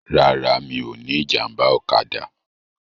Rárá, mi ò ní ìjàmbá ọ̀kadà.